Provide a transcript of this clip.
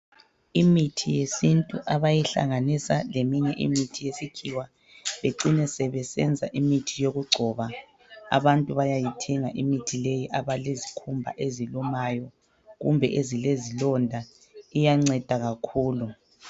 Imithi yesintu abayihlanganisa leminye imithi yesikhiwa becine sebesenza imithi yokugcoba abantu bayayithenga imithi leyi abalezikhumba ezilumayo kumbe ezilezilonda iyanceda kakhulu.